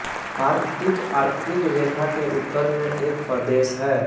Arctic Arctic रेखा के उत्तर में एक प्रदेश है